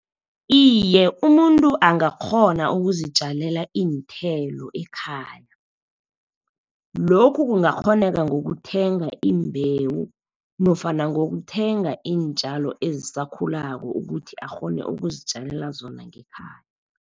Iye, umuntu angakghona ukuzitjalela iinthelo ekhaya. Lokhu kungakghoneka ngokuthenga imbewu, nofana ngokuthenga iintjalo ezisakhulako ukuthi akghone ukuzitjalela zona ngekhaya.